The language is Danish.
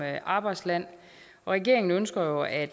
arbejdsland regeringen ønsker jo at